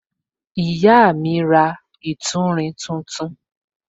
Ìyá mi ra ìtúrin tuntun.